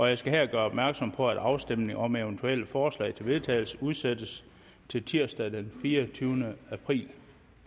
jeg skal her gøre opmærksom på at afstemning om eventuelle forslag til vedtagelse udsættes til tirsdag den fireogtyvende april